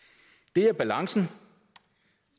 det er balancen